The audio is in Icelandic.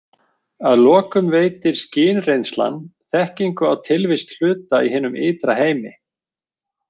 Að lokum veitir skynreynslan þekkingu á tilvist hluta í hinum ytra heimi.